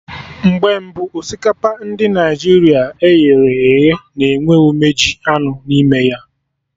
Mgbe mbụ, osikapa ndị Naịjirịa e ghere eghe na enwe umeji anụ n'ime ya